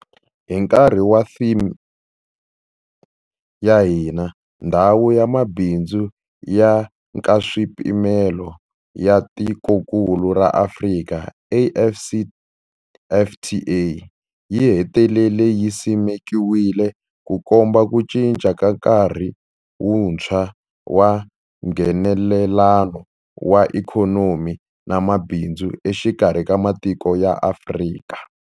Hi nkarhi wa theme ya hina, Ndhawu ya Mabindzu ya Nkaswipimelo ya Tikokulu ra Afrika, AfCFTA, yi hetelele yi simekiwile, Ku komba ku cinca ka nkarhi wuntshwa wa Nghenelelano wa ikhonomi na mabindzu exikarhi ka matiko ya Afrika.